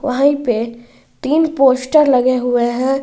वही पे तीन पोस्टर लगे हुए हैं।